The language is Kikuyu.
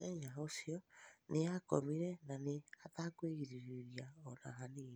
Mũthenya ũcĩo nĩakomĩre nanĩ atakwĩgĩrĩrĩria ona hanĩnĩ